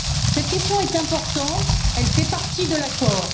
Cette question est importante, elle fait partie de l'accord.